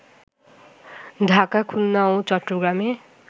ঢাকা, খুলনা ও চট্টগ্রামে